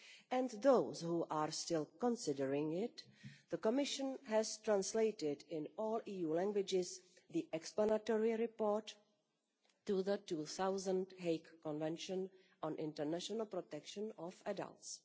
and those which are still considering it, the Commission has translated into all EU languages the explanatory report to the 2000 Hague Convention on the International Protection of Adults.